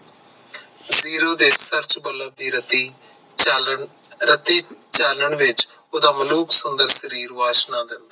ਦੇ ਬੱਲਬ ਦੀ ਰਾਤੀ ਚਾਨਣ ਰਾਤੀ ਚਾਨਣ ਵਿਚ ਓਹਦਾ ਮਲੁਖ ਸੁੰਦਰ ਸਰੀਰ ਵਾਸ਼ਨਾ ਦਿੰਦਾ